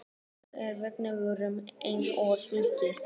Sögðu að veggirnir væru eins og skorsteinn.